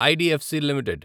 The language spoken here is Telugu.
IDFC limited